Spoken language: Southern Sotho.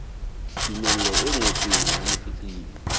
tumello e ngotsweng ya motletlebi